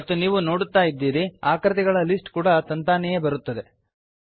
ಮತ್ತು ನೀವು ನೋಡುತ್ತಾ ಇದ್ದೀರಿ ಆಕೃತಿಗಳ ಲಿಸ್ಟ್ ಕೂಡ ತಾನಾಗಿಯೇ ಬರುತ್ತದೆ